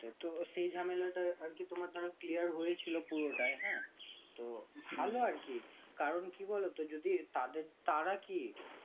তো সেই ঝামেলাটা অন্তত clear হয়েছিল তো হলো আর কি কারণ কি বলতো তাদের তারা কি